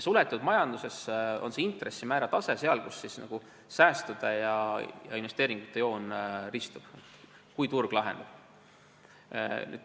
Suletud majanduses on intressimäära tase seal, kus säästude ja investeeringute joon ristuvad.